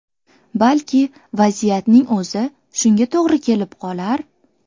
Balki vaziyatning o‘zi shunga to‘g‘ri kelib qolar.